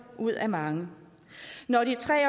ud af mange når de tre